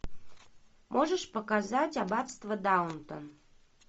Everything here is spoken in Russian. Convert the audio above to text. можешь показать аббатство даунтон